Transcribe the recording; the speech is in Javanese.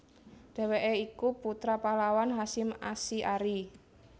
Dheweke iku putra pahlawan Hasyim Asy arie